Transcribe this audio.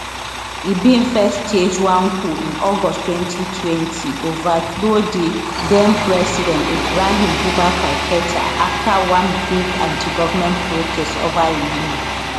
e bin first stage one coup in august 2020 overthrow di den president ibrahim boubacar keta afta one big antigovment protests over im rule